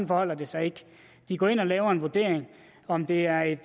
forholder det sig ikke de går ind og laver en vurdering af om det er et